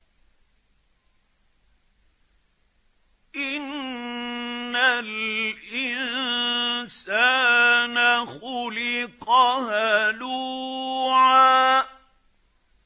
۞ إِنَّ الْإِنسَانَ خُلِقَ هَلُوعًا